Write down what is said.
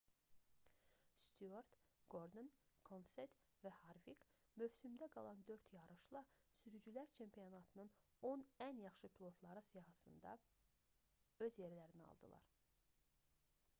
styuart qordon kenset və harvik mövsümdə qalan 4 yarışla sürücülər çempionatının on ən yaxşı pilotları sırasında öz yerlərini aldılar